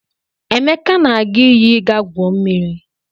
Emeka na-aga iyi ịga gwuo mmiri.